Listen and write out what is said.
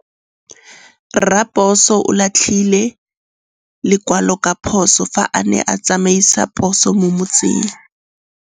Raposo o latlhie lekwalô ka phosô fa a ne a tsamaisa poso mo motseng.